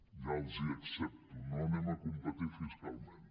ja els ho accepto no competirem fiscalment